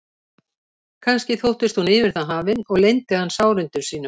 Kannski þóttist hún yfir það hafin og leyndi hann sárindum sínum.